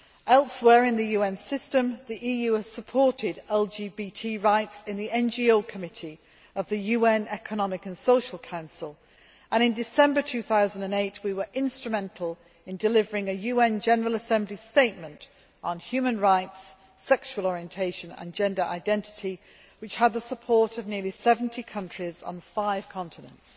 Elsewhere in the UN system, the EU has supported LGBT rights in the NGO Committee of the UN Economic and Social Council, and in December 2008 we were instrumental in delivering a UN General Assembly statement on human rights, sexual orientation and gender identity which had the support of nearly 70 countries on five continents.